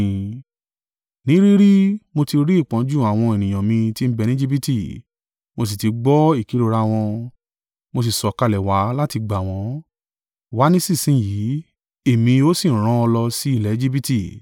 Ní rí rí, mo ti rí ìpọ́njú àwọn ènìyàn mi tí ń bẹ ni Ejibiti, mo sì ti gbọ́ ìkérora wọn, mo sì sọ̀kalẹ̀ wá láti gbà wọ́n. Wá nísinsin yìí, Èmi ó sì rán ọ lọ sí ilẹ̀ Ejibiti.’